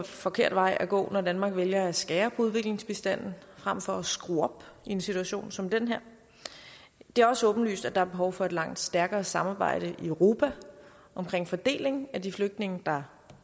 forkert vej at gå når danmark vælger at skære ned på udviklingsbistanden frem for at skrue op for i en situation som den her det er også åbenlyst at der er behov for et langt stærkere samarbejde i europa omkring fordelingen af de flygtninge der